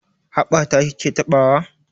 Haɓa ta ki ke taɓawa?